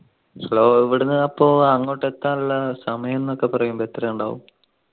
hello ഇവിടുന്ന് അപ്പൊ അങ്ങോട്ട് എത്താനുള്ള സമയംന്നൊക്കെ പറയുമ്പോ എത്ര ഇണ്ടാവു